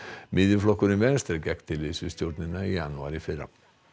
miðjuflokkurinn Venstre gekk til liðs við stjórnina í janúar í fyrra